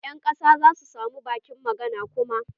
Ƴan ƙasa zasu samu bakin magana kuma.